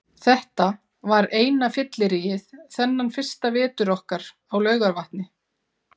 Þetta var eina fylliríið þennan fyrsta vetur okkar á Laugarvatni.